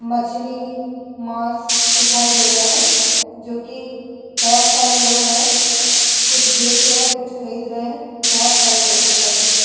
मछली मांस दिखाई दे रहा है जोकि बोहोत सारे लोग हैं। कुछ बेच रहे कुछ खरीद रहे हैं। बोहोत सारे लोग दिखाई दे रहे हैं।